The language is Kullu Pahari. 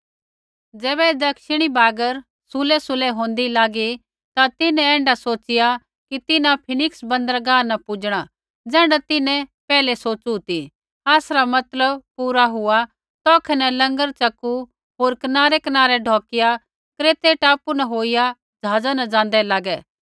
ज़ैबै दक्षिणी बागर सुल्हैसुल्है होन्दी लागी ता तिन्हैं ऐण्ढा सोच़िया कि तिन्हां फिनिक्स बन्दरगाह न पूजणा ज़ैण्ढा तिन्हैं पैहलै सोच़ु ती आसरा मतलब पुरा हुआ तौखै न लंगर च़कू होर कनारैकनारै ढौकिया क्रेतै टापू होईया ज़हाज़ा न ज़ाँदै लागै